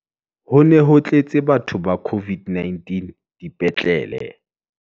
Ho ne ho tletse, batho ba COVID-19 dipetlele.